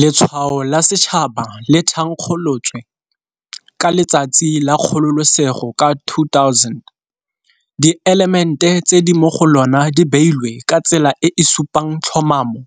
Letshwao la Setšhaba le thankgolotswe ka Letsatsi la Kgololosego ka 2000. Dielemente tse di mo go lona di beilwe ka tsela e e supang tlhomamo